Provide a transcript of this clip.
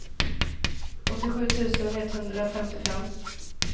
åttiosju tusen etthundrafemtiofem